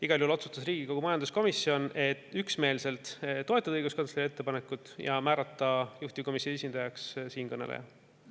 Igal juhul otsustas Riigikogu majanduskomisjon üksmeelselt toetada õiguskantsleri ettepanekut ja määrata juhtivkomisjoni esindajaks siinkõneleja.